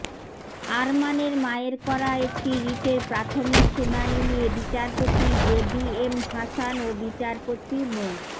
আরমানের মায়ের করা একটি রিটের প্রাথমিক শুনানি নিয়ে বিচারপতি জেবিএম হাসান ও বিচারপতি মো